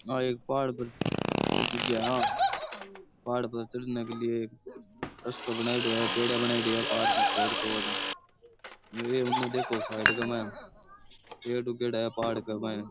आ एक पहाड़ पर की जगह है पहाड़ पर चलने के लिए एक रस्तो बनाएड़ो है पेडियां बनाएड़ी है पहाड़ को खोद खोद साईड गै मा है पेड़ उगेड़ा है पहाड़ के मायने।